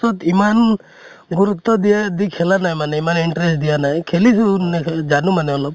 অত ইমান গুৰুত্ব দিয়া দি খালে নাই মানে ইমান interest দিয়া নাই । খেলিছো জানো মানে অলপ